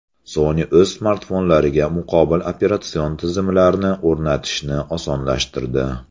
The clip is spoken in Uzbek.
Sony o‘z smartfonlariga muqobil operatsion tizimlarni o‘rnatishni osonlashtirdi.